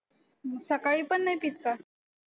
मग सकाळी पण नाही पित का?